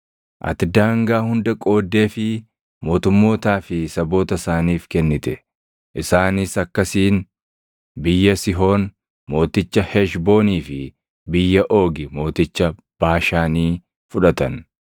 “Ati daangaa hunda qooddeefii mootummootaa fi saboota isaaniif kennite. Isaanis akkasiin biyya Sihoon mooticha Heshboonii fi biyya Oogi mooticha Baashaanii fudhatan.